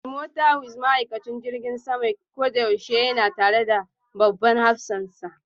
Timotawus ma'aikacin jirgin sama koyaushe yana tare da babban hafsansa.